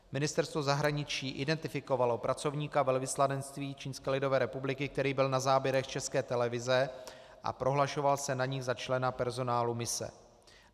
Ministerstvo zahraničí identifikovalo pracovníka velvyslanectví Čínské lidové republiky, který byl na záběrech České televize a prohlašoval se na nich za člena personálu mise.